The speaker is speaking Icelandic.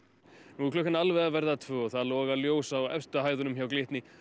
nú er klukkan alveg að verða tvö og það loga ljós á efstu hæðunum hjá Glitni